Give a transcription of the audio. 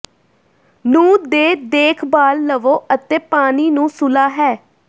ਨੂੰ ਦੇ ਦੇਖਭਾਲ ਲਵੋ ਅਤੇ ਪਾਣੀ ਨੂੰ ਸੁਲ੍ਹਾ ਹੈ